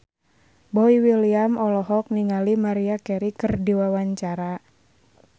Boy William olohok ningali Maria Carey keur diwawancara